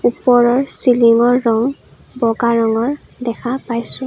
ওপৰৰ চিলিঙৰ ৰং বগা ৰঙৰ দেখা পাইছোঁ।